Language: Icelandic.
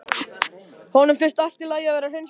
Honum finnst allt í lagi að vera hreinskilinn.